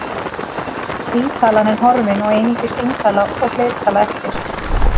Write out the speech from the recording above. Tvítalan er horfin og einungis eintala og fleirtala eftir.